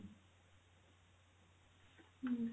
ହୁଁ